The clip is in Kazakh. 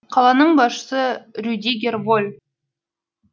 қаланың басшысы рюдигер воль